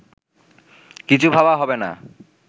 কিছু ভাবা হবেনা